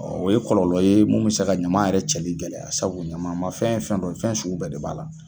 o ye kɔlɔlɔ ye munnu bɛ se ka ɲama yɛrɛ cɛli gɛlɛya sabu ɲama ma fɛn ye fɛn dɔ ye, fɛn sugu bɛɛ de b'a la.